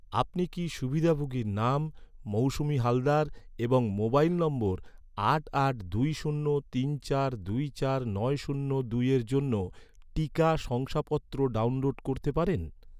আপনি কি সুবিধাভোগীর নাম, মৌসুমি হালদার এবং মোবাইল নম্বর আট আট দুই শূন্য তিন চার দুই চার নয় শূন্য দুইয়ের জন্য, টিকা শংসাপত্র ডাউনলোড করতে পারেন?